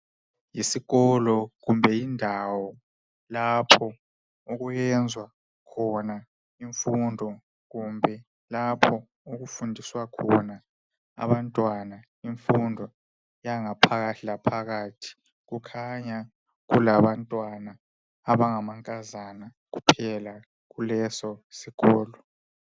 Isikolo kumbe indawo lapho okuyenzwa khona imfundo kumbe lapho Okufundiswa khona abantwana imfundo yangaphakathilaphakathi kukhanya kulabantwana abangamankazana kuphela kuleso sikolo